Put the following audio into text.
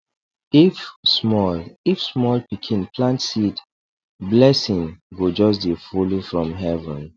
if small if small pikin plant seed blessing go just dey follow from heaven